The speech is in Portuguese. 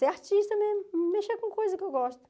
Ser artista mesmo, mexer com coisas que eu gosto.